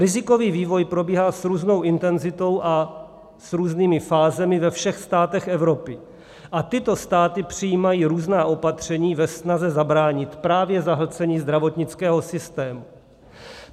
Rizikový vývoj probíhá s různou intenzitou a s různými fázemi ve všech státech Evropy a tyto státy přijímají různá opatření ve snaze zabránit právě zahlcení zdravotnického systému.